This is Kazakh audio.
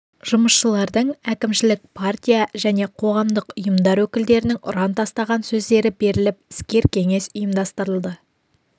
жұмысшылардың әкімшілік партия және қоғамдық ұйымдар өкілдерінің ұран тастаған сөздері беріліп іскер кеңес ұйымдастырылды